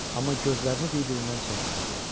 Amma gözlərini bir-birindən çəkmirdilər.